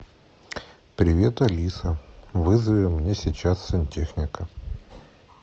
привет алиса вызови мне сейчас сантехника